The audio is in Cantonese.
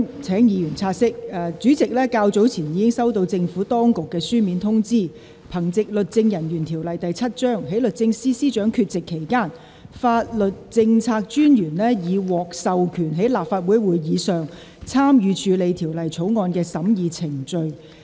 請議員察悉，本會主席較早前已收到政府當局書面通知，憑藉《律政人員條例》第7條，在律政司司長缺席期間，法律政策專員已獲授權在立法會會議上參與處理《條例草案》的審議程序。